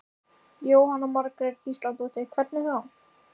Jóhanna Margrét Gísladóttir: Hvernig þá?